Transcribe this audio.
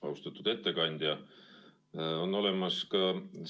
Austatud ettekandja!